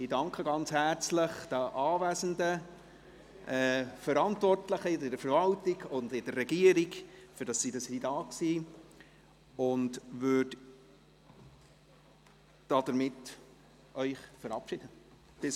Ich danke den anwesenden Verantwortlichen aus der Verwaltung und der Regierung ganz herzlich, dass sie da waren, und verabschiede Sie hiermit.